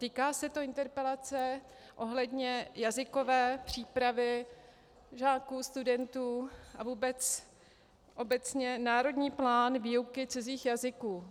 Týká se to interpelace ohledně jazykové přípravy žáků, studentů a vůbec obecně - národní plán výuky cizích jazyků.